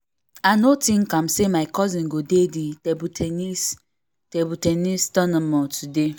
i no think am say my cousin go dey the table ten nis table ten nis tournament today